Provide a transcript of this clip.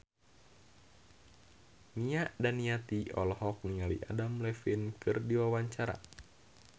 Nia Daniati olohok ningali Adam Levine keur diwawancara